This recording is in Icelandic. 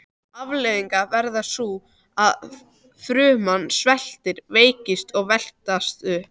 Afleiðingin verður sú að fruman sveltur, veikist og veslast upp.